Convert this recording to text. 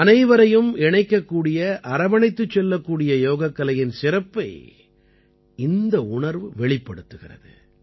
அனைவரையும் இணைக்கக்கூடிய அரவணைத்துச் செல்லக்கூடிய யோகக் கலையின் சிறப்பை இந்த உணர்வு வெளிப்படுத்துகிறது